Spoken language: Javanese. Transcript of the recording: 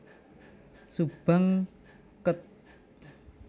Subang Kec